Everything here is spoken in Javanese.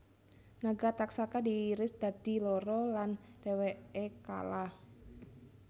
Naga Taksaka diiris dadi loro lan dheweke kalah